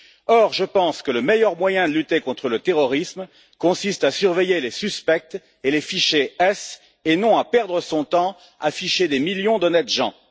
Or, je pense que le meilleur moyen de lutter contre le terrorisme consiste à surveiller les suspects et les fichés S et non à perdre son temps à ficher des millions d'honnêtes gens.